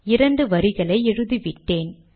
இரண்டு வரிகளை எழுதிவிட்டேன்